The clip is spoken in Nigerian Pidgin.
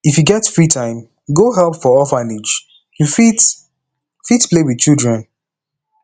if you get free time go help for orphanage you fit fit play wit children